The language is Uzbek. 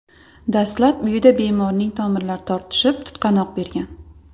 Dastlab uyida bemorning tomirlari tortishib, tutqanoq bergan.